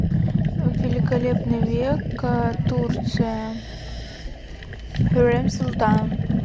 великолепный век турция хюррем султан